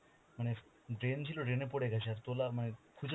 মানে drain ছিল drain এ পরে গেছে আর তোলার মানে খুঁজে